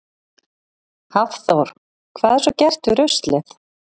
Hafþór: Hvað er svo gert við ruslið?